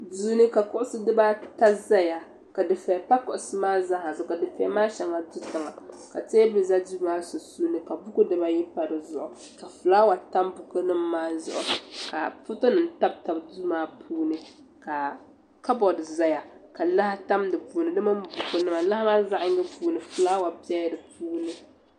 Duu ni ka kuɣusi dibata zaya ka dufɛya pa kuɣusi maa zaa zuɣu ka dufɛya maa shɛŋa do tiŋa ka teebuli za duu maa sunsuuni ka buku dibayi pa di zuɣu ka fulaawa tam bukunima maa zuɣu ka fotonima tabi tabi duu maa puuni ka kaboodi zaya ka laa tam di puuni di mini bukunima lahi maa zaɣ'yiŋga puuni fulaawa bela di puuni.